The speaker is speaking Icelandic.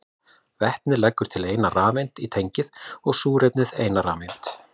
Vetnið leggur til eina rafeind í tengið og súrefnið eina rafeind.